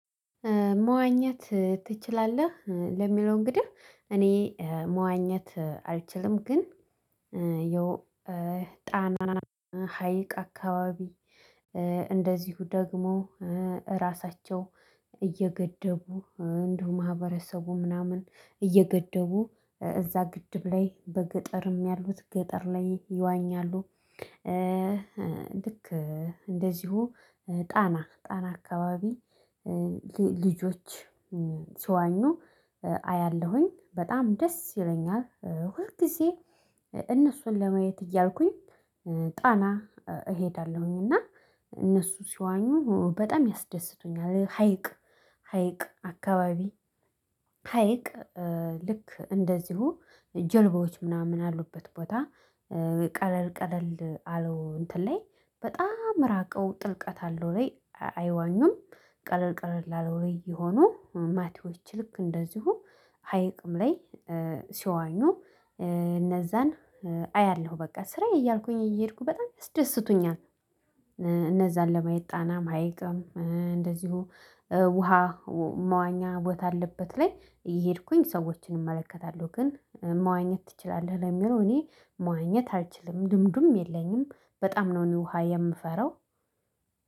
መዋኘት ትችላለህ ለሚለው እንግዲህ እኔ መዋኘት አልችልም ግን የው ጣና ሀይቅ አካባቢ እንደዚሁ ደግሞ እራሳቸው እየገደቡ እንዲሁ ማህበረሰቡ ምናምን እየገደቡ እዛ ግድብ ላይ በገጠርም ያሉት ገጠር ላይ ይዋኛሉ፣ ልክ እንደዚሁ ጣና፣ ጣና አካባቢ ልጆች ሲዋኙ አያለሁኝ በጣም ደስ ይለኛል ሁል ግዜ እነሱን ለማየት እያልኩኝ ጣና እሄዳለሁኝ እና እነሱ ሲዋኙ በጣም ያስደስቱኛል ሀይቅ ሀይቅ አካባቢ ሀይቅ ልክ እንደዚሁ ጀልባዎች ምናምን ያሉበት ቦታ ቀለል ቀለል አለው እንትን ላይ በጣም ራቀው ጥልቀት አለው ወይ አይዋኙም ቀለል ቀለል ላለው ላይ የሆኑ ማቲዎች ልክ እንደዚሁ ሀይቅም ላይ ሲዋኙ እነዛን አያለሁ በቃ። ስራዬ እያልኩኝ እየሄድኩ በጣም ያስደስቱኛል እነዛን ለማየት ጣናም፣ ሐይቅም እንደዚሁ ውሃ መዋኛ ቦታ ያለበት ላይ እየሄድኩኝ ሰዎችን እመለከታለሁ፤ ግን መዋኘት ትችላለህ ለሚለው እኔ መዋኘት አልችልም ልምዱም የለኝም በጣም ነው እኔ ውሃ የምፈራው